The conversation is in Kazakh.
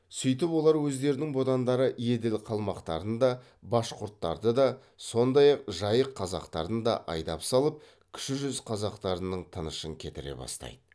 сөйтіп олар өздерінің бодандары еділ қалмақтарын да башқұрттарды да сондай ақ жайық қазақтарын да айдап салып кіші жүз қазақтарының тынышын кетіре бастайды